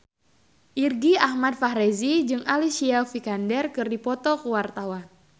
Irgi Ahmad Fahrezi jeung Alicia Vikander keur dipoto ku wartawan